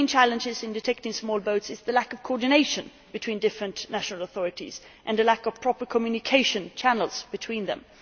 The main challenges in detecting small boats are the lack of coordination between different national authorities and a lack of proper communication channels among them.